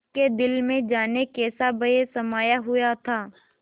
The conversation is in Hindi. उसके दिल में जाने कैसा भय समाया हुआ था